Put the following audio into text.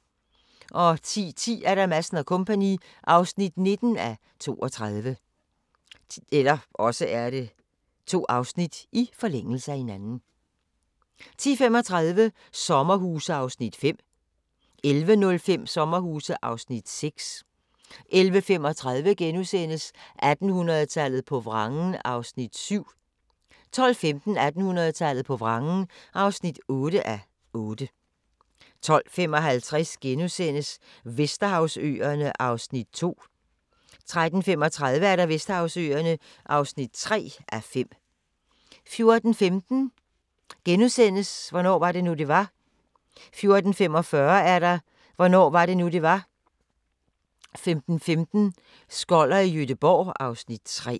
10:10: Madsen & Co. (19:32) 10:35: Sommerhuse (5:10) 11:05: Sommerhuse (6:10) 11:35: 1800-tallet på vrangen (7:8)* 12:15: 1800-tallet på vrangen (8:8) 12:55: Vesterhavsøerne (2:5)* 13:35: Vesterhavsøerne (3:5) 14:15: Hvornår var det nu, det var? * 14:45: Hvornår var det nu, det var? 15:15: Skoller i Gøteborg (Afs. 3)